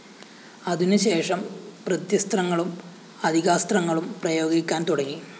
അതിനുശേഷം പ്രത്യസ്ത്രങ്ങളും അതികാസ്ത്രങ്ങളും പ്രയോഗിക്കാന്‍ തുടങ്ങി